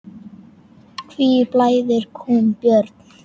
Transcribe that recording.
Hví blæðir kúm, Björn?